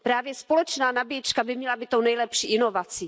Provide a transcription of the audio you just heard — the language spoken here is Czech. Právě společná nabíječka by měla být tou nejlepší inovací.